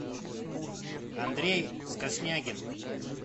андрей скоснягин